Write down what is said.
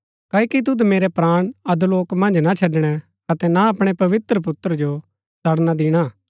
क्ओकि तुद मेरै प्राण अधोलोक मन्ज ना छड़णै अतै ना अपणै पवित्र पुत्र जो सड़णा दिणा